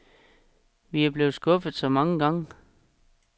Vi er blevet skuffet så mange gange.